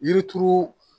Yiri turu